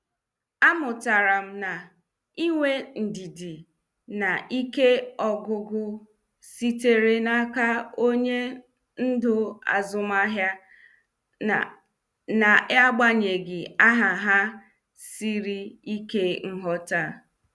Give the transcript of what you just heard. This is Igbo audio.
A mụtara m na ịnwe ndidi na ike ọgwụgwụ sitere n' aka onye ndú azụmahịa ,n' n'agbanyeghị aha ha sịrị ike nghọta.